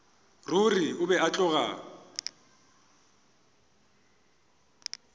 ruri o be a tloga